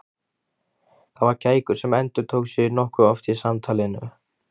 Það var kækur sem endurtók sig nokkuð oft í samtalinu.